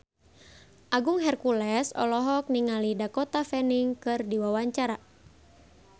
Agung Hercules olohok ningali Dakota Fanning keur diwawancara